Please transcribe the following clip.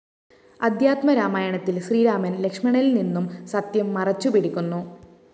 അദ്ധ്യാത്മരാമായണത്തില്‍ ശ്രീരാമന്‍ ലക്ഷ്മണനില്‍നിന്നും സത്യം മറച്ചുപിടിക്കുന്നു